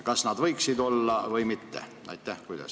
Kas nad võiksid olla või mitte?